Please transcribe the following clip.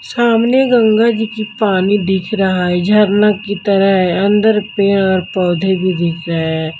सामने गंगा जी की पानी दिख रहा है झरना की तरह है अंदर पेड़ और पौधे भी दिख रहे हैं।